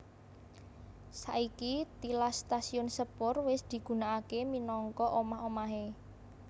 Saiki tilas stasiun sepur wis digunakake minangka omah omahé